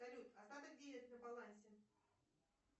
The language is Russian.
салют остаток денег на балансе